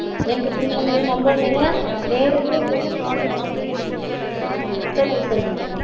ஏன்னு பாத்தீங்கனா நம்ம நேரா நேரடியா, சொல்லுங்க சொல்லுங்க